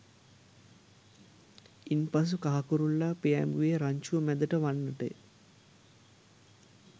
ඉන් පසු කහ කුරුල්ලා පියෑඹුයේ රංචුව මැදට වන්නටය